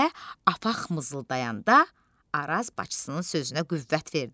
deyə apaq mızıldayanda Araz bacısının sözünə qüvvət verdi.